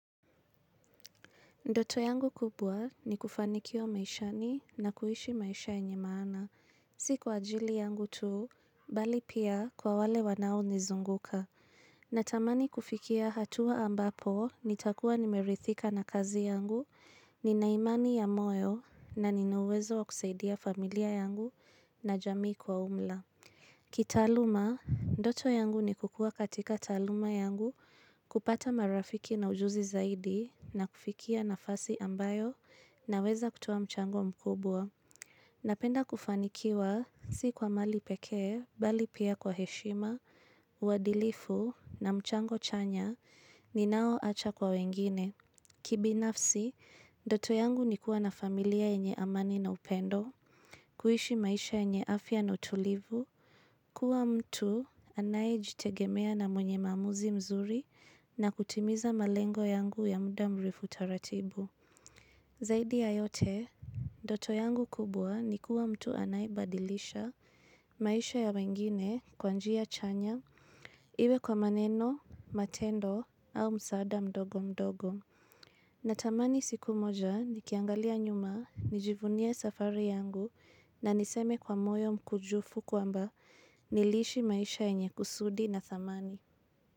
Ndoto yangu kubwa ni kufanikiwa maishani na kuishi maisha yenye maana. Si kwa ajili yangu tu, bali pia kwa wale wanaonizunguka. Natamani kufikia hatua ambapo nitakuwa nimeridhika na kazi yangu, ninaimani ya moyo na ninauwezo wa kusaidia familia yangu na jamii kwa umla. Kitaaluma, ndoto yangu ni kukua katika taaluma yangu kupata marafiki na ujuzi zaidi na kufikia nafasi ambayo naweza kutuoa mchango mkubwa. Napenda kufanikiwa si kwa mali pekee, bali pia kwa heshima, uadilifu na mchango chanya, ninaoacha kwa wengine. Kibinafsi, ndoto yangu ni kuwa na familia yenye amani na upendo, kuishi maisha yenye afya na utulivu, kuwa mtu anayejitegemea na mwenye maamuzi mzuri na kutimiza malengo yangu ya muda mrefu taratibu. Zaidi ya yote, ndoto yangu kubwa ni kuwa mtu anayebadilisha maisha ya wengine kwa njia chanya iwe kwa maneno, matendo au msaada mdogo mdogo. Natamani siku moja nikiangalia nyuma, nijivunie safari yangu na niseme kwa moyo mkunjufu kwamba niliishi maisha yenye kusudi na thamani.